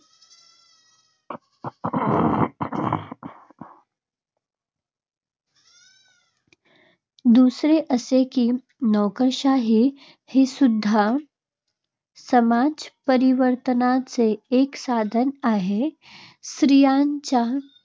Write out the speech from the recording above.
दूसरे असे की, नोकरशाही हीसुद्धा समाजपरिवर्तनाचे एक साधन आहे. स्त्रियांचे